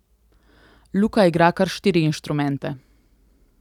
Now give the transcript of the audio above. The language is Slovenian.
Luka igra kar štiri inštrumente.